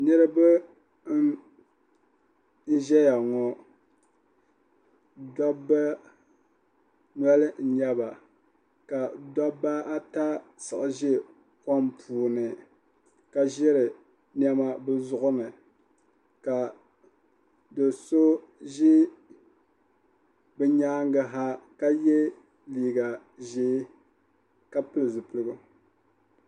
niraba n ʒɛya ŋɔ dabba noli n nyɛba ka dabba ata siɣi ʒɛ kom puuni ka ʒiri niɛma bi zuɣu ni ka do so ʒɛ bi nyaangi ha ka yɛ liiga ʒiɛ ka pili zipiligu